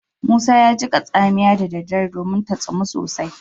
Musa ya jiƙa tsamiya da daddare domin ta tsumun sosai